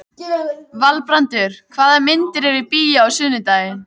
Valbrandur, hvaða myndir eru í bíó á sunnudaginn?